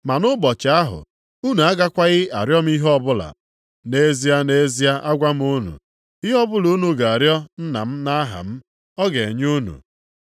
Ma nʼụbọchị ahụ, unu agakwaghị arịọ m ihe ọbụla. Nʼezie, nʼezie, agwa m unu, ihe ọbụla unu ga-arịọ Nna m nʼaha m, ọ ga-enye unu.